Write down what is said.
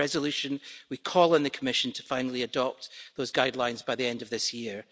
In our Resolution, we call on the Commission to finally adopt those guidelines by the end of this year.